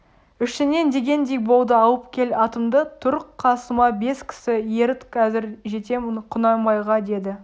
ішінен дегендей болды алып кел атымды тұр қасыма бес кісі еріт қазір жетем құнанбайға деді